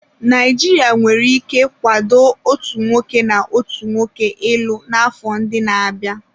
Naijiria nwere ike kwado otu nwoke na nwoke ịlụ n'afọ ndị na-abịa.